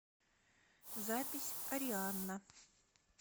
запись арианна